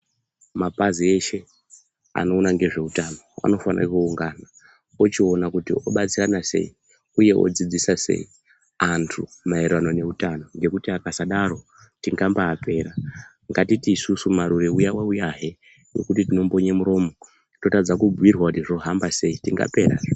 Mapazi eshe anoona ngezveutano anofane kuungana ochiona kuti obatsirana sei uye odzidzisa sei antu maererano ngeutano. Ngekuti akasadaro tingambaapera. Ngatiti isusu Marure uya wauyahe wekuti tinombonye muromo totadza kubhuirwa kuti zvohamba sei, tingaperazve.